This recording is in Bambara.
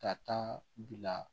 Ka taa bila